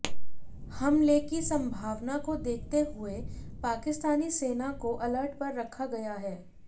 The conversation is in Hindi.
हमले की संभावना को देखते हुए पाकिस्तानी सेना को अलर्ट पर रखा गया है